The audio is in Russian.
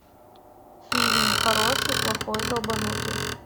фильм хороший плохой долбанутый